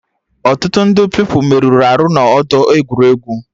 Ọtụtụ ndị Pupilụ merụrụ arụ n'ọdọ egwuregwu